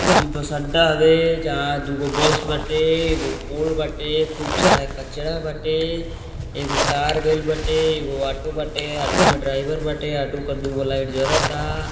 इ बस अड्डा हउए जहां दुगो बस बाटे एगो पोल बाटे खूब सारा कचरा बाटे एगो तार गइल बाटे एगो ओटो बाटे ओटो में ड्राइवर बाटे ओटो क दुगो लाइट जरता।